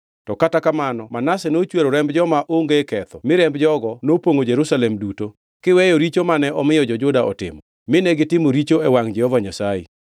To kata kamano Manase nochwero remb joma onge ketho mi remb jogo nopongʼo Jerusalem duto, kiweyo richo mane omiyo jo-Juda otimo, mine gitimo richo e wangʼ Jehova Nyasaye.